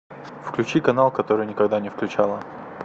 включи канал который никогда не включала